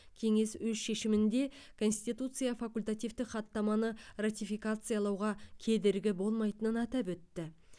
кеңес өз шешімінде конституция факультативтік хаттаманы ратификациялауға кедергі болмайтынын атап өтті